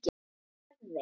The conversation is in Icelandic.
Hvað gerðist?